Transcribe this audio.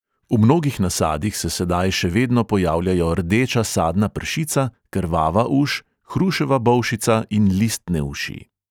V mnogih nasadih se sedaj še vedno pojavljajo rdeča sadna pršica, krvava uš, hruševa bolšica in listne uši.